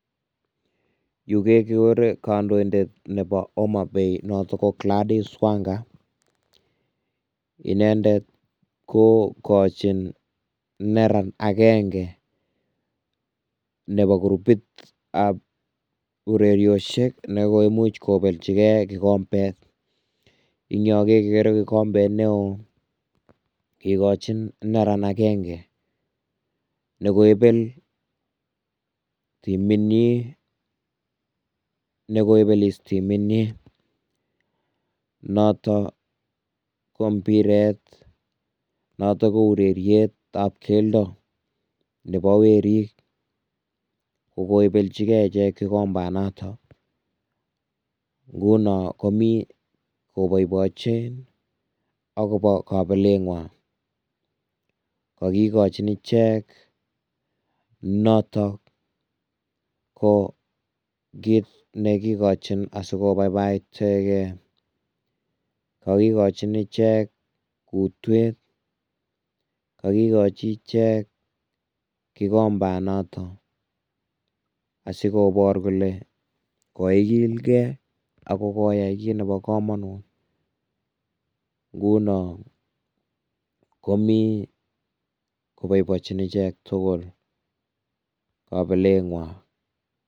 Yu kekiore kandoindet nebo Homabay natok ko Gladys wanga inendet ko kachin neran akenge nebo kurubit ab ureriosiek ne koimuch kobeljike kikombet, eng yon kekere kikombet neoo kikochin neran akenge ne koibel timit nyin, nekoibelis timit nyin, noto ko mbiret, noto ko ureriet nebo keldo, nebo werik ko koibeljike ichek kikombanatak, nguno komi koboiboiche akobo kabelet ngwan kakikojin ichek naton ko kit nekikochin asikobaibai cheke, kakikochin ichek kutwet, kakikochin ichek kikombanatak asikobor kole koikilken Ako koyay kit nebo kamonut nguno komi koboiboichin ichek tugul kabelengwan.